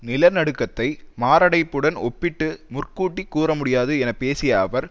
நில நடுக்கத்தை மாரடைப்புடன் ஒப்பிட்டு முற்கூட்டி கூறமுடியாது என பேசிய அவர்